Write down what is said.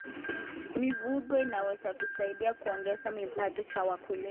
Mifugo inaweza kusaidia kuongeza kipato cha wakulima.